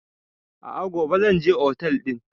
A'a gobe zan je otel ɗin